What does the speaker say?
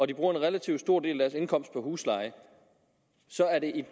de bruger en relativt stor del af deres indkomst på husleje så er det